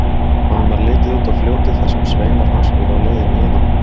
Honum varð litið út á fljótið þar sem sveinar hans voru á leiðinni yfir um.